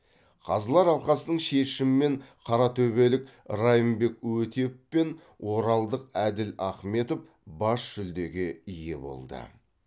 қазылар алқасының шешімімен қаратөбелік райымбек өтеп пен оралдық әділ ахметов бас жүлдеге ие болды